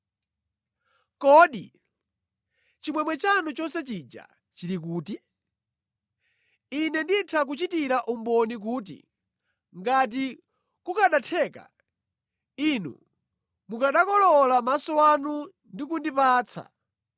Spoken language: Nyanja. Kodi chimwemwe chanu chonse chija chili kuti? Ine nditha kuchitira umboni kuti, ngati kukanatheka, inu mukanakolowola maso anu ndi kundipatsa.